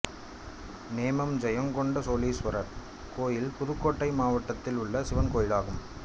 நேமம் ஜெயங்கொண்ட சோளீசுவரர் கோயில் புதுக்கோட்டை மாவட்டத்தில் உள்ள சிவன் கோயிலாகும்